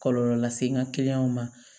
Kɔlɔlɔ lase n ka kiliyanw ma